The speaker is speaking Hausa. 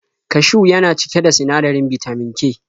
Kashiw yana cike da sinadarin bitamin K.